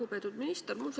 Lugupeetud minister!